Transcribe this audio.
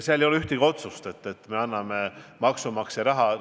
Ei ole ühtegi otsust, et me anname selleks maksumaksja raha.